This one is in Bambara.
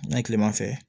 N'a ye tilema fɛ